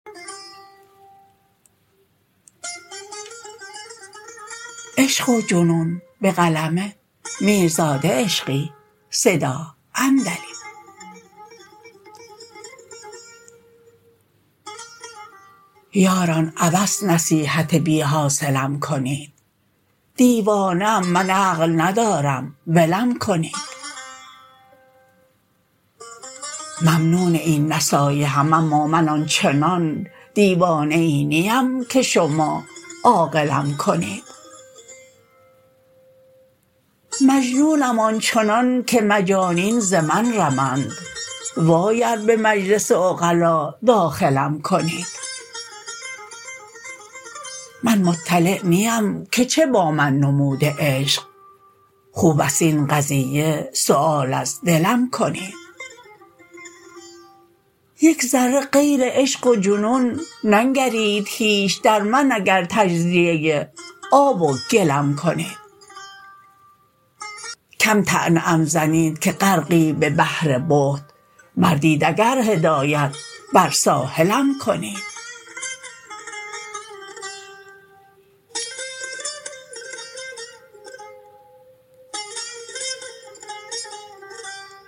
یاران عبث نصیحت بی حاصلم کنید دیوانه ام من عقل ندارم ولم کنید ممنون این نصایحم اما من آنچنان دیوانه ای نیم که شما عاقلم کنید مجنونم آنچنان که مجانین ز من رمند وای ار به مجلس عقلا داخلم کنید من مطلع نیم که چه با من نموده عشق خوب است این قضیه سوال از دلم کنید یک ذره غیر عشق و جنون ننگرید هیچ در من اگر که تجزیه آب و گلم کنید کم طعنه ام زنید که غرقی به بحر بهت مردید اگر هدایت بر ساحلم کنید